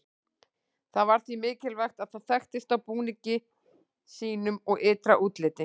Það var því mikilvægt að það þekktist á búningi sínum og ytra útliti.